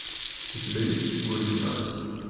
у тебя есть горе и радость